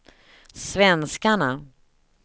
svenskarna